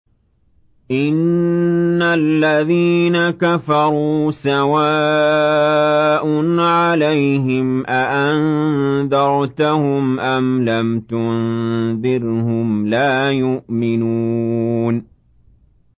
إِنَّ الَّذِينَ كَفَرُوا سَوَاءٌ عَلَيْهِمْ أَأَنذَرْتَهُمْ أَمْ لَمْ تُنذِرْهُمْ لَا يُؤْمِنُونَ